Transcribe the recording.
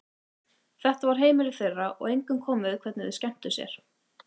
Þetta var heimilið þeirra og engum kom við hvernig þau skemmtu sér.